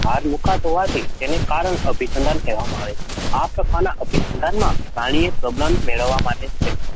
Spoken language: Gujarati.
ભાર મૂકાતો હોવાથી તેને કારણ અભિસંધાન કહેવામાં આવે છે. આ પ્રકારના અભિસંધાનમાં પ્રાણીએ પ્રબલન મેળવવા માટે